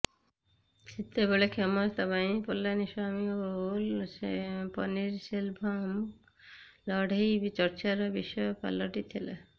ସେତେବେଳେ କ୍ଷମତା ପାଇଁ ପଲାନିସ୍ୱାମୀ ଓ ପନିରସେଲଭମ୍ଙ୍କ ଲଢେଇ ଚର୍ଚ୍ଚାର ବିଷୟ ପାଲଟିଥିଲା